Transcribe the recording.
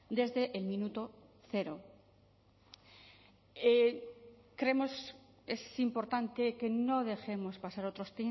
desde el minuto cero creemos es importante que no dejemos pasar otros